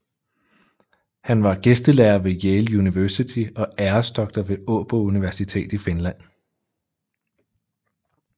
Han var gæstelærer ved Yale University og æresdoktor ved Åbo Universitet i Finland